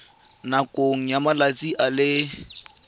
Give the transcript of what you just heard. nakong ya malatsi a le